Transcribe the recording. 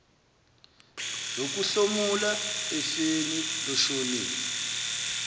zokuhlomula efeni loshonile